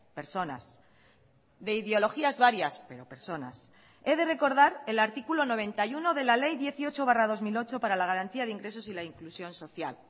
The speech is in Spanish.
personas de ideologías varias pero personas he de recordar el artículo noventa y uno de la ley dieciocho barra dos mil ocho para la garantía de ingresos y la inclusión social